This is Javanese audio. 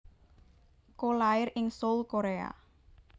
Ko lair ing Seoul Korea